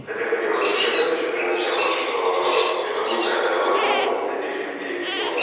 хотя хотелось бы сказать ещё для начала что ээ это уникальная возможность для тех людей кто